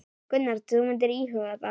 Gunnar: Þú myndir íhuga það?